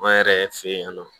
An yɛrɛ fɛ yen nɔ